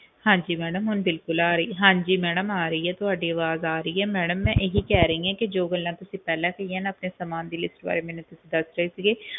ਹਾਂਜੀ ਮੈਡਮ ਹੁਣ ਬਿਲਕੁਲ ਆ ਰਹੀ ਹੈ ਹਾਂਜੀ ਮੈਡਮ ਆ ਰਹੀ ਆ ਤੁਹਾਡੀ ਅਵਾਜ ਆ ਰਹੀ ਹੈ ਮੈਂ ਤੁਹਾਨੂੰ ਇਹ ਕਹਿ ਰਹੀ ਆ ਕਿ ਜੋ ਗੱਲਾਂ ਤੁਸੀਂ ਪਹਿਲਾਂ ਕਹੀਆਂ ਨਾ ਆਪਣੇ ਸਾਮਾਨ ਦੀ list ਵਾਰੇ ਮੈਨੂੰ ਦੱਸ ਰਹੇ ਸੀਗੇ